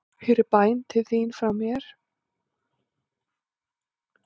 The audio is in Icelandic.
Hér er bæn til þín frá mér.